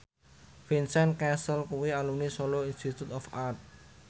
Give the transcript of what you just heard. Vincent Cassel kuwi alumni Solo Institute of Art